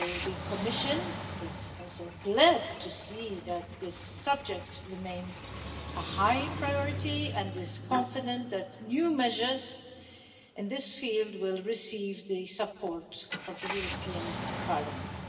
So, the Commission is also glad to see that this subject remains a high priority and is confident that new measures in this field will receive the support of the European Parliament.